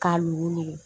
K'a nugu